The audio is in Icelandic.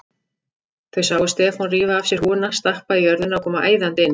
Þau sáu Stefán rífa af sér húfuna, stappa í jörðina og koma æðandi inn.